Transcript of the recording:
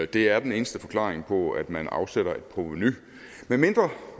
det er den eneste forklaring på at man afsætter et provenu medmindre